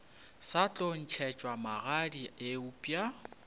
sa tlo ntšhetšwa magadi eupša